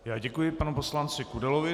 Já děkuji panu poslanci Kudelovi.